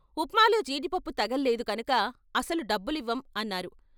" ఉప్మాలో జీడిపప్పు తగల్లేదు కనుక అసలు డబ్బులివ్వం" అన్నారు.